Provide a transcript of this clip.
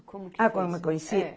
Ah, como que eu conheci? É